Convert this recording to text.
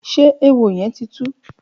Ṣé éwó yèn ti tú?